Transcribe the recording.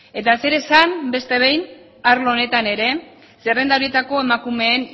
eta zer esan beste behin arlo honetan ere zerrenda horietako emakumeen